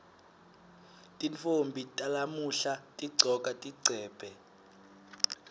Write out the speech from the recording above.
tintfombi talamuhla tigcoka tigcebhe